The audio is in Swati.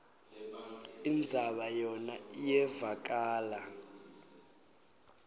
indzaba yona iyevakala